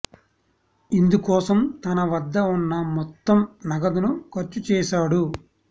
ఇందు కోసం తన వద్ద ఉన్న మొత్తం నగదును ఖర్చు చేశాడు